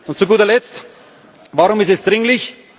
Und zu guter Letzt Warum ist es dringlich?